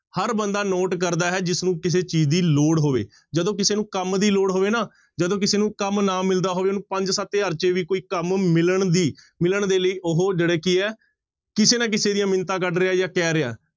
ਹਰ ਬੰਦਾ note ਕਰਦਾ ਹੈ ਜਿਸਨੂੰ ਕਿਸੇ ਚੀਜ਼ ਦੀ ਲੋੜ ਹੋਵੇ, ਜਦੋਂ ਕਿਸੇ ਨੂੰ ਕੰਮ ਦੀ ਲੋੜ ਹੋਵੇ ਨਾ, ਜਦੋਂ ਕਿਸੇ ਨੂੰ ਕੰਮ ਨਾ ਮਿਲਦਾ ਹੋਵੇ ਉਹਨੂੰ ਪੰਜ ਸੱਤ ਹਜ਼ਾਰ ਚ ਵੀ ਕੋਈ ਕੰਮ ਮਿਲਣ ਦੀ, ਮਿਲਣ ਦੇ ਲਈ ਉਹ ਜਿਹੜੇ ਕੀ ਹੈ ਕਿਸੇ ਨਾ ਕਿਸੇ ਦੀਆਂ ਮਿੰਨਤਾਂ ਕੱਢ ਰਿਹਾ ਜਾਂ ਕਹਿ ਰਿਹਾ।